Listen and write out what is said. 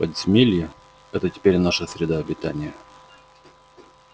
подземелье это теперь наша среда обитания